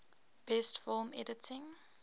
best film editing